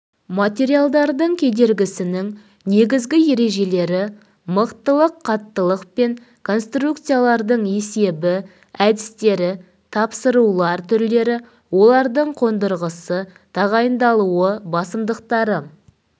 материалдардың кедергісінің негізгі ережелері мықтылық қаттылық пен конструкциялардың есебі әдістері тапсырулар түрлері олардың қондырғысы тағайындалуы басымдықтары